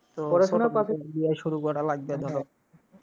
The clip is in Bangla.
পড়াশোনা শুরু করা লাগবে ধরো।